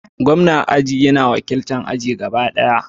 Gwamna aji yana wakiltar aji gaba ɗaya.